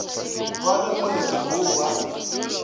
ba re moletlo wo wa